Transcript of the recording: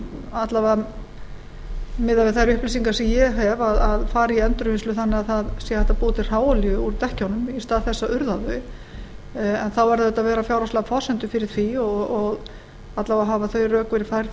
alla vega miðað við þær upplýsingar sem ég hef að fara í endurvinnslu þannig að það sé hægt að búa til hráolíu úr dekkjunum í stað þess að urða þau en þá verða auðvitað að vera fjárhagslegar forsendur fyrir því alla vega hafa á rök verið færð